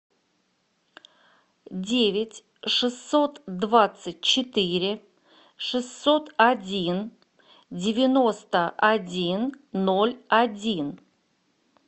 девять шестьсот двадцать четыре шестьсот один девяносто один ноль один